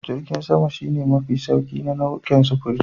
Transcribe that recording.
Jirgin sama shi ne mafi sauri a nau'ukan sufuri.